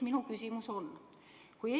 Minu küsimus on selline.